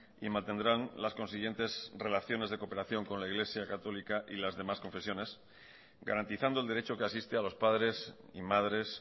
y mantendrán las consiguientes relaciones de cooperación con la iglesia católica y las demás confesiones garantizando el derecho que asiste a los padres y madres